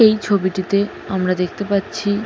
এই ছবিটিতে আমরা দেখতে পাচ্ছি --